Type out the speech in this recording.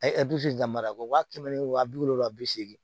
A ye damil'a la wa kɛmɛ ni wa bi wolonwula bi seegin